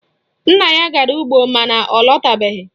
Nna ya gara ugbo mana ọ latabeghi